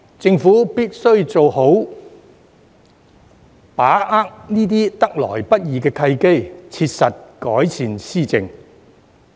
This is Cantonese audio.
政府必須好好把握這些得來不易的契機，切實改善施政。